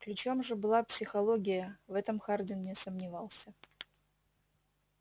ключом же была психология в этом хардин не сомневался